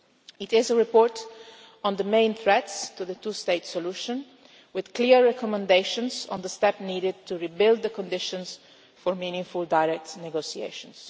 It is a report on the main threats to the two-state solution, with clear recommendations on the steps needed to rebuild the conditions for meaningful direct negotiations.